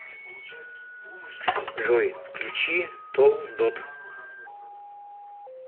джой включи толдот